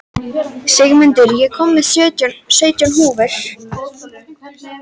Sigmunda, ég kom með sautján húfur!